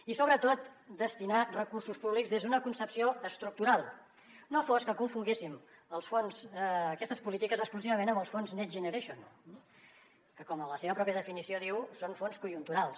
i sobretot destinar hi recursos públics des d’una concepció estructural no fos que confonguéssim aquestes polítiques exclusivament amb els fons next generation que com la seva pròpia definició diu són fons conjunturals